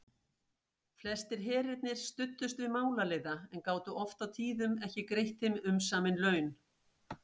Flestir herirnir studdust við málaliða en gátu oft og tíðum ekki greitt þeim umsamin laun.